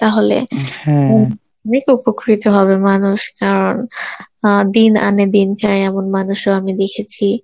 তাহলে উপকৃত হবে মানুষ আর দিন আনে, দিন খায় এমন মানুষও আমি দেখেছি